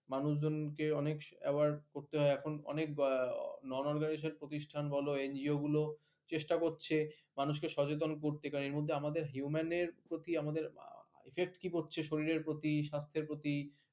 মানুষদের কে অনেক আবার এখন অনেক বলা প্রতিষ্ঠান বলো ইয়েগুলো চেস্টা করছে মানুষদের সচেতন করছে আমাদের human এর প্রতি আমাদের ব্যপ্তি হচ্ছে শরীরের প্রতি স্বাস্থ্যের প্রতিই